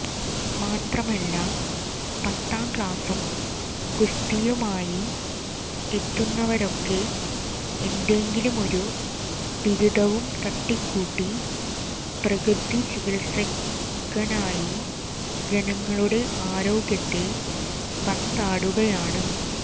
മാത്രമല്ല പത്താംക്ളാസും ഗുസ്തിയുമായി എത്തുന്നുവരൊക്കെ എന്തെങ്കിലും ഒരു ബിരുദവും തട്ടിക്കൂട്ടി പ്രകൃതി ചികില്സകനായി ജനങ്ങളുടെ ആരോഗ്യത്തെ പന്താടുകയാണ്